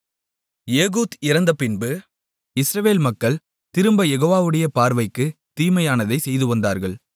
Ehud இறந்தபின்பு Israel மக்கள் திரும்பக் யெகோவாவுடைய பார்வைக்குத் தீமையானதைச் செய்துவந்தார்கள்